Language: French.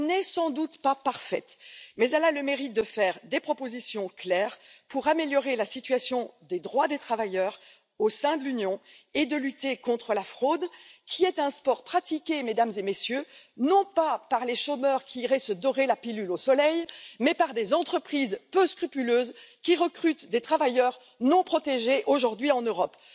Elle n'est sans doute pas parfaite, mais elle a le mérite de faire des propositions claires pour améliorer la situation des droits des travailleurs au sein de l'Union et lutter contre la fraude, qui est un sport pratiqué, Mesdames et Messieurs, non pas par les chômeurs qui iraient se dorer la pilule au soleil, mais par des entreprises peu scrupuleuses qui recrutent des travailleurs non protégés aujourd'hui en Europe.